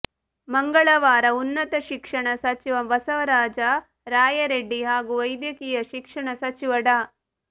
ಮಂಗಳವಾರ ಉನ್ನತ ಶಿಕ್ಷಣ ಸಚಿವ ಬಸವರಾಜ ರಾಯರೆಡ್ಡಿ ಹಾಗೂ ವೈದ್ಯಕೀಯ ಶಿಕ್ಷಣ ಸಚಿವ ಡಾ